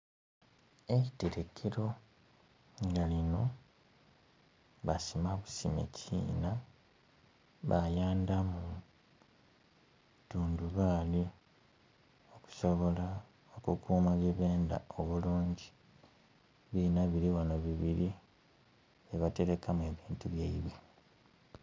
Eiterekero nga lino basima busime kiina bayandamu tundubaali okusobola okukuuma byebenda obulungi. Ebiina bili ghano bibiri bye batelekamu ebintu byaibwe.